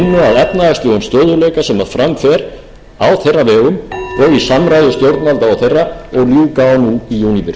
efnahagslegum stöðugleika sem fram fer á þeirra vegum og í samráði stjórnvalda og þeirra og ljúka á núna í júníbyrjun